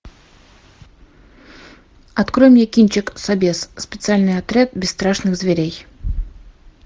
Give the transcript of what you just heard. открой мне кинчик собез специальный отряд бесстрашных зверей